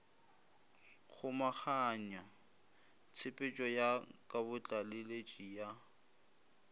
kgomaganya tshepetšo ya kabotlaleletši ya